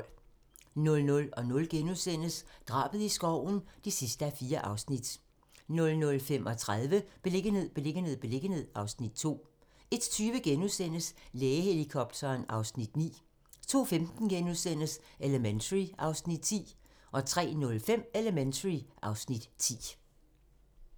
00:00: Drabet i skoven (4:4)* 00:35: Beliggenhed, beliggenhed, beliggenhed (Afs. 2) 01:20: Lægehelikopteren (Afs. 9)* 02:15: Elementary (Afs. 9)* 03:05: Elementary (Afs. 10)